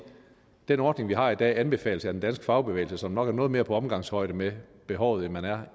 den ordning vi har i dag anbefales af den danske fagbevægelse som nok er noget mere på omgangshøjde med behovet end man er